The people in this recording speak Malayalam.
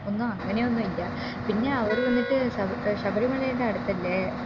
ഒന്ന് അങ്ങനെയൊന്നു ഇല്ല പിന്നെ അവര് വന്നിട്ട് ശബ ഏർ ശബരിമലയിൻറെ അടുത്ത് അല്ലെ